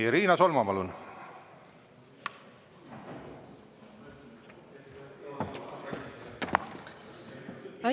Riina Solman, palun!